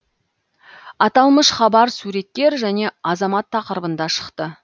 аталмыш хабар суреткер және азамат тақырыбында шықты